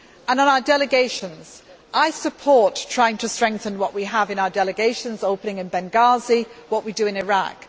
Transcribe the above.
so. On our delegations, I support trying to strengthen what we have in our delegations opening in Benghazi, and what we do in Iraq.